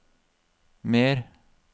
mer